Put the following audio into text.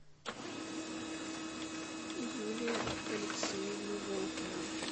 юлия алексеевна волкова